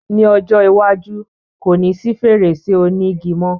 Ní ọjọ́ iwájú, ko ní sí fèrèsé òní igi mo